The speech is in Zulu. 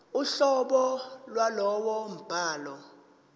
uhlobo lwalowo mbhalo